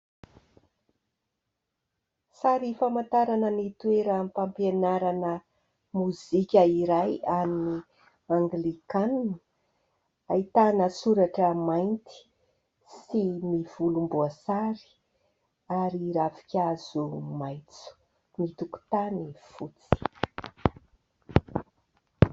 Sary famantarana ny toeram-pampianarana mozika iray, an'ny anglikanina ; ahitana soratra mainty sy volomboasary ary ravinkaazo maitso, ny tokontany fotsy.